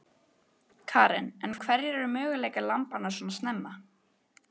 Karen: En hverjir eru möguleikar lambanna svona snemma?